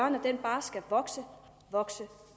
at den bare skal vokse vokse